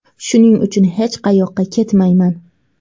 Shuning uchun hech qayoqqa ketmayman.